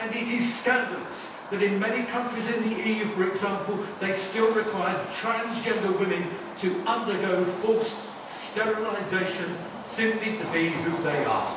It is scandalous that in many countries in the EU for example, they still require transgender women to undergo forced sterilisation, simply to be who they are.